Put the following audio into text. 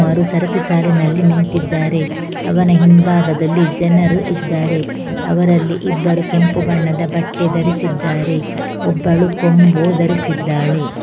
ರು ಸರಥಿ ಸಾಲಿನಲ್ಲಿ ನಿಂತಿದ್ದಾರೆ ಅವನ ಹಿಂಭಾಗದಲ್ಲಿ ಜನರು ಇದ್ದಾರೆ ಅವರಲ್ಲಿ ಇಬ್ಬರು ಕೆಂಪು ಬಣ್ಣದ ಬಟ್ಟೆ ಧರಿಸಿದ್ದಾರೆ ಒಬ್ಬಳು ಕೊಂಬು ಧರಿಸಿದ್ದಾಳೆ.